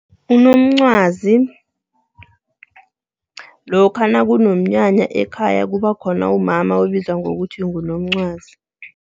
Unomncwazi, lokha nakunomnyanya ekhaya kuba khona umama obizwa ngokuthi ngunomncwazi.